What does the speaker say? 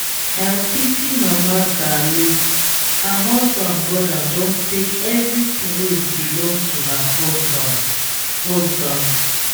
i pity mama dalụ her husband brother don take everything wey belong to her husband husband.